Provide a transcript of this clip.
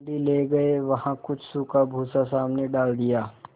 मंडी ले गये वहाँ कुछ सूखा भूसा सामने डाल दिया